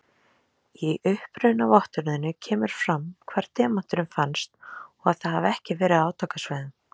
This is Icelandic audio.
Í upprunavottorðinu kemur fram hvar demanturinn fannst og að það hafi ekki verið á átakasvæðum.